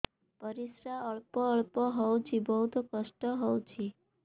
ପରିଶ୍ରା ଅଳ୍ପ ଅଳ୍ପ ହଉଚି ବହୁତ କଷ୍ଟ ହଉଚି